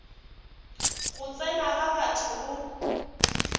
go tsena ga batho go